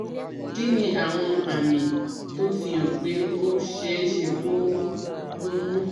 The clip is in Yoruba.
Kí ni àwọn àmì tó ń fi hàn pé ó ṣeé ṣe kó o lóyún?